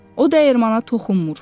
O dəyirmana toxunmur.